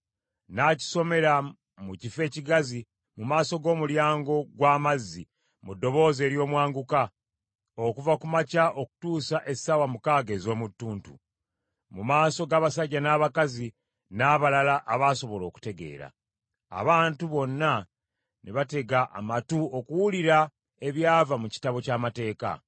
N’akisomera mu kifo ekigazi mu maaso g’Omulyango gw’Amazzi mu ddoboozi ery’omwanguka, okuva ku makya okutuusa essaawa mukaaga ez’omu tuntu, mu maaso g’abasajja n’abakazi n’abalala abasobola okutegeera. Abantu bonna ne batega amatu okuwulira ebyava mu Kitabo ky’Amateeka.